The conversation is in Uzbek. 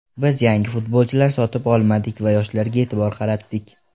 Biz yangi futbolchilar sotib olmadik va yoshlarga e’tibor qaratdik.